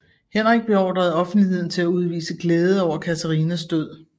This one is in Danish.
Henrik beordrede offentligheden til at udvise glæde over Katarinas død